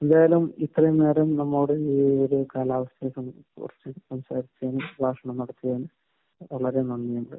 എന്തായാലും ഇത്രയും നേരം നമ്മളോട് ഈ ഒരു കാലാവസ്ഥയെക്കുറിച്ച് സംസാരിച്ചതിന് സംഭാഷണം നടത്തിയതിന് വളരെ നന്നിയുണ്ട്.